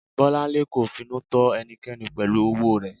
Bolanle kò finú tọ́ ẹnìkankan pẹ̀lú owó rẹ̀.